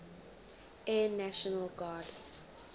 air national guard